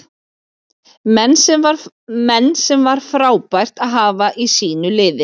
Menn sem var frábært að hafa í sínu liði.